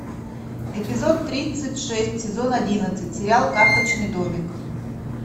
эпизод тридцать шесть сезон одиннадцать сериал карточный домик